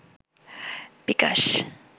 বিকাশ